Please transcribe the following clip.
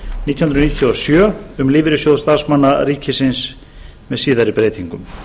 níutíu og sjö um lífeyrissjóð starfsmanna ríkisins með síðari breytingum